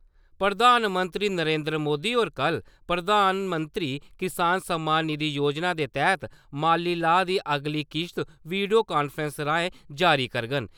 प्रधानमंत्री नरेन्द्र मोदी होर कल प्रधानमंत्री किसान सम्मान निधि योजना दे तैह्त माली लाह् दी अगली किस्त वीडियो कांफ्रैसिंग राएं जारी करङन ।